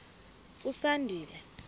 usandile